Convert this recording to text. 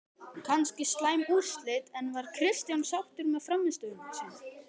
Kannski slæm úrslit, en var Kristján sáttur með frammistöðuna?